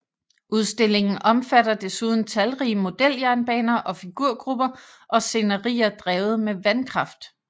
Udstillingen omfatter desuden talrige modeljernbaner og figurgrupper og scenerier drevet med vandkraft